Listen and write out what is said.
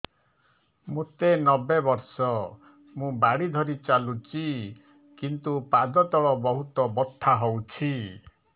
ମୋତେ ନବେ ବର୍ଷ ମୁ ବାଡ଼ି ଧରି ଚାଲୁଚି କିନ୍ତୁ ପାଦ ତଳ ବହୁତ ବଥା ହଉଛି